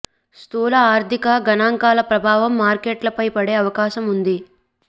స్థూల ఆర్థిక గణాంకాల ప్రభావం మార్కెట్లపై పడే అవకాశం ఉంది